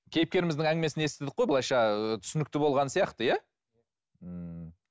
кейіпкеріміздің әңгімесін естідік қой былайша түсінікті болған сияқты ммм